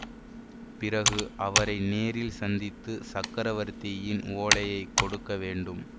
பிறகு அவரை நேரில் சந்தித்து சக்கரவர்த்தியின் ஓலையை கொடுக்க வேண்டும்